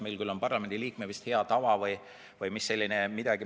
Meil küll on parlamendiliikme hea tava olemas.